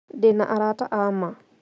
Ndĩna arata a ma